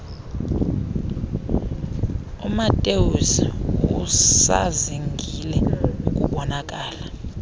umatthews usazingile ukubonakala